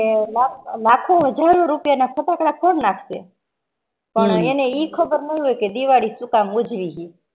લાખો હાજર ના રૂપિયા ના ફટાકડા ફૌડ નાખશે પણ એને ઇ ખબર ન હોય દિવાળી સુ કામ ઉજવી હ